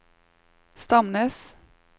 Stamnes